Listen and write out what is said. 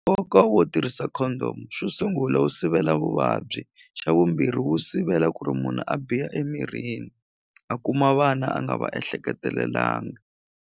Nkoka wo tirhisa condom xo sungula wu sivela vuvabyi xa vumbirhi wu sivela ku ri munhu a biha emirini a kuma vana a nga va ehleketelelangi.